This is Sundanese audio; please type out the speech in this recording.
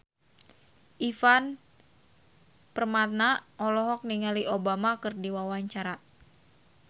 Ivan Permana olohok ningali Obama keur diwawancara